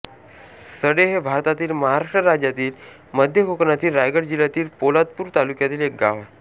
सडे हे भारतातील महाराष्ट्र राज्यातील मध्य कोकणातील रायगड जिल्ह्यातील पोलादपूर तालुक्यातील एक गाव आहे